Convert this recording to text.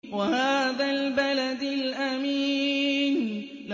وَهَٰذَا الْبَلَدِ الْأَمِينِ